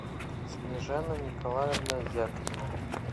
снежана николаевна зябкина